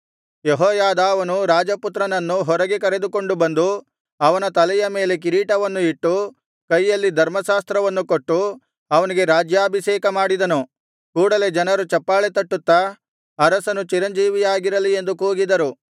ಯೆಹೋಯಾದಾವನು ರಾಜಪುತ್ರನನ್ನು ಹೊರಗೆ ಕರೆದುಕೊಂಡು ಬಂದು ಅವನ ತಲೆಯ ಮೇಲೆ ಕಿರೀಟವನ್ನು ಇಟ್ಟು ಕೈಯಲ್ಲಿ ಧರ್ಮಶಾಸ್ತ್ರವನ್ನು ಕೊಟ್ಟು ಅವನಿಗೆ ರಾಜ್ಯಾಭಿಷೇಕ ಮಾಡಿದನು ಕೂಡಲೆ ಜನರು ಚಪ್ಪಾಳೆ ತಟ್ಟುತ್ತಾ ಅರಸನು ಚಿರಂಜೀವಿಯಾಗಿರಲಿ ಎಂದು ಕೂಗಿದರು